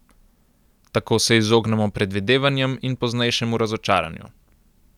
Tako se izognemo predvidevanjem in poznejšemu razočaranju.